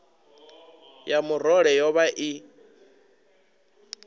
ya murole yo vha i